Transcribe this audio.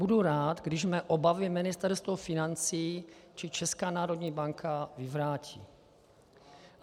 Budu rád, když mé obavy Ministerstvo financí či Česká národní banka vyvrátí.